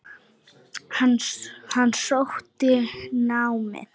Hann sótti námið.